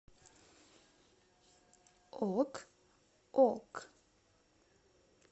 ок ок